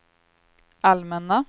allmänna